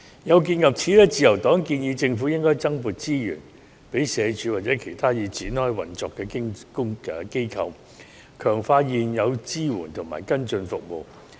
有見及此，自由黨建議政府應該增撥資源予社署或其他已展開運作的機構，強化現有支援及跟進服務。